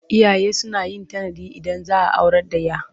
Iyaye suna yin tanadi Idan za a aurar da 'ya.